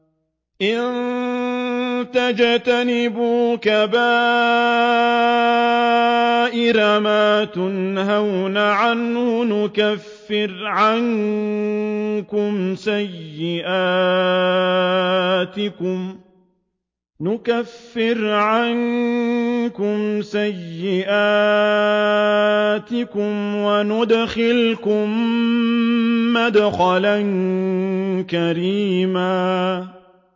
إِن تَجْتَنِبُوا كَبَائِرَ مَا تُنْهَوْنَ عَنْهُ نُكَفِّرْ عَنكُمْ سَيِّئَاتِكُمْ وَنُدْخِلْكُم مُّدْخَلًا كَرِيمًا